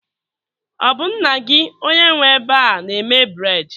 Ọ bụ nna gị onye nwe ebe a na-eme bred